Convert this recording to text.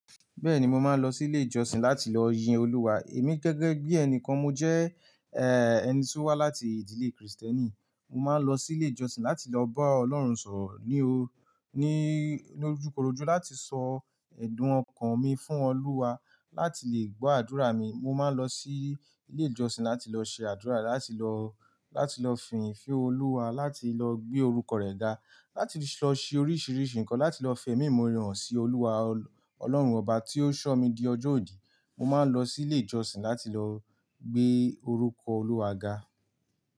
Bẹ́ẹ̀ni mo máa ń lọ sí ilé ìjọsìn láti lọ yin Olúwa. Èmi gẹ́gẹ́ bí ẹni kan mo jẹ́, eh, ẹni tí ó wá láti ìdílé Krìstẹ́nì. Mo máa ń lọ sí ilé ìjọsìn láti lọ bá Ọlọ́run sọ̀rọ̀ ní o-- ní ojúkorojú láti sọ ẹ̀dùn ọkàn mi fún Olúwa, láti lè gbo àdúrà mi. Mo máa ń lọ sí ilé ìjọsìn láti lọ ṣe àdúrà, láti lọ, láti lọ fìnyin fẹ́ Olúwa, láti lọ gbé orúkọ rẹ̀ dá, láti lọ ṣe oríṣìíríṣìí ǹkan, láti lọ fẹ̀mí imọ̀ore sí Olúwa, Ọlọ́run ọba tí ó ṣọ́ mi di ọjọ́ òní. Mo máa ń lọ sí ilé ìjọsìn láti lọ gbé orúkọ Olúwa ga.